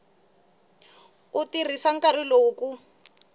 ku tirhisa nkarhi lowu ku